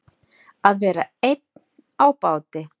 Að vera einn á báti